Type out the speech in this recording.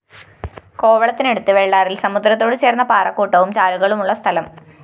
കോവളത്തിനടുത്ത് വെള്ളാറില്‍ സമുദ്രത്തോടു ചേര്‍ന്ന പാറക്കൂട്ടവും ചാലുകളും ഉള്ള സ്ഥലം